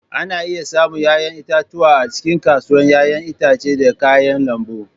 Ana iya samun 'ya'yan itatuwa a cikin kasuwar 'ya'yan itace da kayan lambu.